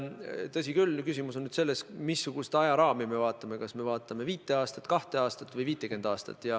Tõsi küll, küsimus on nüüd selles, missugust ajaraami me vaatame – kas me vaatame viit aastat, kahte aastat või 50 aastat.